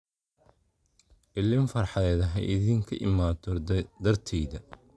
Illin farxadeed haidinka imato darteyda